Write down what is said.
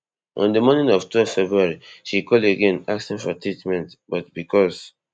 on di morning of twelve february she call again asking for treatment but becos